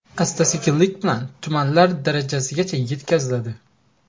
Asta-sekinlik bilan tumanlar darajasigacha yetkaziladi.